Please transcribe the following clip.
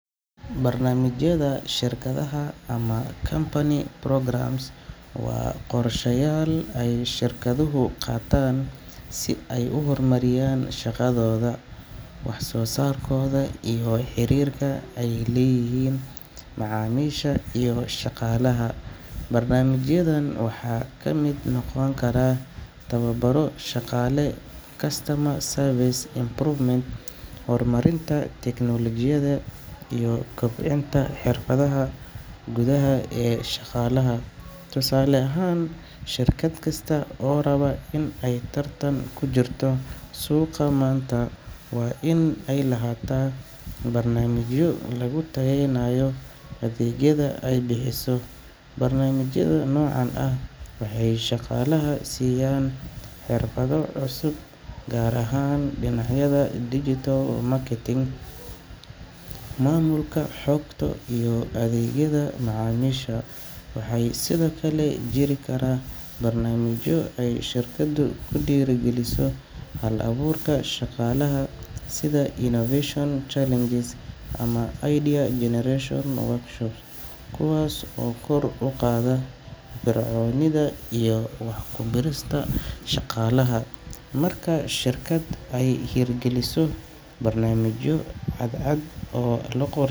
Barnaamijyada shirkadaha ama company programmes waa qorshayaal ay shirkaduhu qaataan si ay u horumariyaan shaqadooda, wax soo saarkooda, iyo xiriirka ay la leeyihiin macaamiisha iyo shaqaalaha. Barnaamijyadan waxaa ka mid noqon kara tababaro shaqaale, customer service improvement, horumarinta tiknoolajiyada, iyo kobcinta xirfadaha gudaha ee shaqaalaha. Tusaale ahaan, shirkad kasta oo raba inay tartan ku jirto suuqa maanta waa in ay lahaataa barnaamijyo lagu tayeynayo adeegyada ay bixiso. Barnaamijyada noocan ah waxay shaqaalaha siiyaan xirfado cusub, gaar ahaan dhinacyada digital marketing, maamulka xogta, iyo adeegyada macaamiisha. Waxaa sidoo kale jiri kara barnaamijyo ay shirkaddu ku dhiirrigeliso hal-abuurka shaqaalaha sida innovation challenges ama idea generation workshops, kuwaas oo kor u qaada firfircoonida iyo wax ku biirista shaqaalaha. Marka shirkad ay hirgeliso barnaamijyo cadcad.